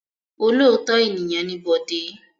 Olóòótọ́ ènìyàn ni Bọ̀dé.